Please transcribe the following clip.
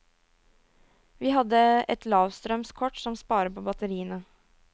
Vi hadde et lavstrøms kort som sparer på batteriene.